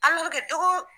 tɔgɔ